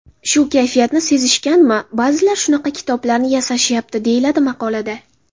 Shu kayfiyatni sezishganmi, ba’zilar shunaqa kitoblarni ‘yasashayapti’”, deyiladi maqolada.